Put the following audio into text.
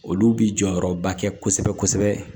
Olu bi jɔyɔrɔba kɛ kosɛbɛ kosɛbɛ